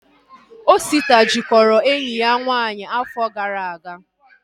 Osita jikọrọ enyi ya nwaanyị afọ gara aga